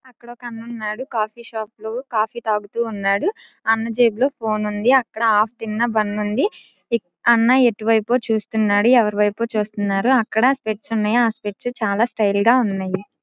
అక్కడ ఒక అన్న ఉన్నాడు కాఫీ షాప్ లో కాఫీ తాగుతూ ఉన్నాడు అన్న జేబు లో ఫోన్ ఉంది అక్కడ ఆఫ్ తిన్న బన్ ఉంది అన్న ఎటువైపో చూస్తున్నాడు ఎవరివైపో చూస్తున్నారు అక్కడ స్విచ్ ఉన్నయి ఆ స్విచ్ చాలా స్టైల్ గా ఉన్నాయి.